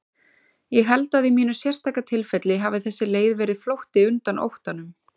Ég held að í mínu sérstaka tilfelli hafi þessi leið verið flótti undan óttanum.